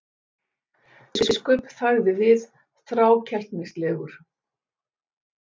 Jón biskup þagði við, þrákelknislegur.